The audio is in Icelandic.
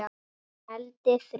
Negldi þrjá!!!